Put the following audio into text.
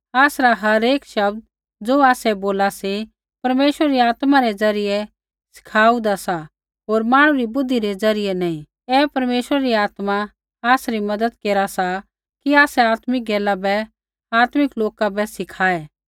आसरा हरेक शब्द ज़ो आसै बोला सी परमेश्वरा री आत्मा रै ज़रियै सिखाहुन्दा सा होर मांहणु री बुद्धि रै ज़रियै नैंई ऐ परमेश्वरा री आत्मा आसरी मज़त केरा सा कि आसै आत्मिक गैला बै आत्मिक लोका बै सिखाऐ